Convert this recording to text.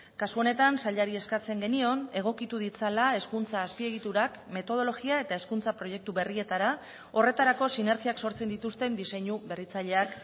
kasu honetan sailari eskatzen genion egokitu ditzala hezkuntza azpiegiturak metodologia eta hezkuntza proiektu berrietara horretarako sinergiak sortzen dituzten diseinu berritzaileak